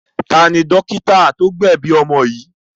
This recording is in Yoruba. Ta ni dọ́kítá tó gbẹ̀bi ọmọ yìí?